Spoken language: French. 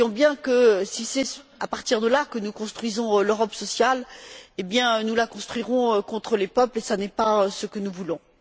Nous voyons bien que si c'est à partir de là que nous construisons l'Europe sociale, eh bien, nous la construirons contre les peuples et ce n'est pas ce que nous voulons.